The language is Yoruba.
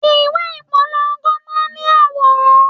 Ìwé ìpolongo máa ń ní àwòrán.